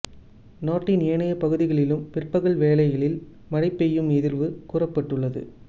நாட்டின் ஏனைய பகுதிகளிலும் பிற்பகல் வேளைகளில் மழை பெய்யும் எதிர்வு கூறப்பட்டுள்ளது